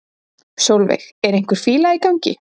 Sólveig: Er einhver fíla í gangi?